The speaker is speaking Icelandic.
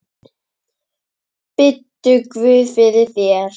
Biddu guð fyrir þér.